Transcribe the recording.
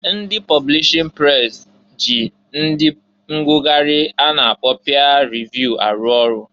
Ndị publishin pres ji ndị ngụgharị a na-akpọ pịa revụ arụ ọrụ.